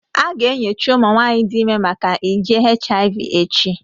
A ga-enyocha ụmụ nwanyị dị ime maka nje HIV echi